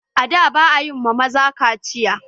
Ada ba ayi ma maza ƙaciya